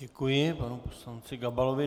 Děkuji, panu poslanci Gabalovi.